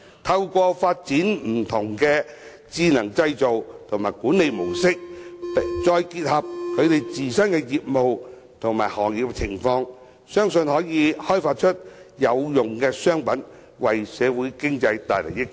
透過發展不同的智能製造和管理模式，再結合其自身業務和行業情況，相信中小企可以開發出有用商品，為社會經濟帶來益處。